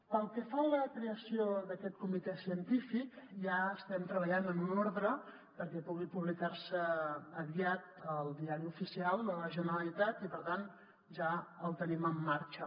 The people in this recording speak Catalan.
pel que fa a la creació d’aquest comitè científic ja estem treballant en una ordre perquè pugui publicar se aviat al diari oficial de la generalitat i per tant ja el tenim en marxa